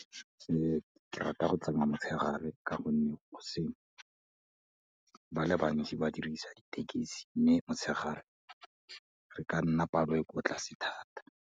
Ke rata go tsamaya motshegare ka gonne goseng, ba le bantsi ba dirisa ditekisi mme motshegare re ka nna palo e ko tlase thata.